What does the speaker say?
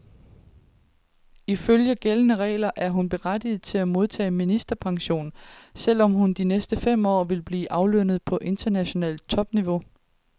Ifølge gældende regler er hun berettiget til at modtage ministerpension, selv om hun de næste fem år vil blive aflønnet på internationalt topniveau.